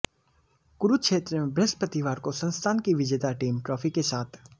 कुरुक्षेत्र में बृहस्पतिवार को संस्थान की विजेता टीम ट्रॉफी के साथ